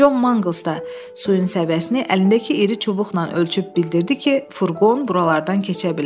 Con Mangels də suyun səviyyəsini əlindəki iri çubuqla ölçüb bildirdi ki, furqon buralardan keçə bilər.